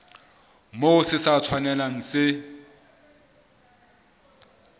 moo se sa tshwanelang se